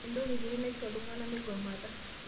Entoki kiti naiko ltung'ana mmeigomata